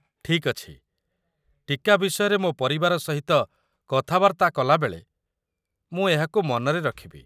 ଠିକ୍ ଅଛି, ଟୀକା ବିଷୟରେ ମୋ ପରିବାର ସହିତ କଥାବାର୍ତ୍ତା କଲାବେଳେ ମୁଁ ଏହାକୁ ମନରେ ରଖିବି।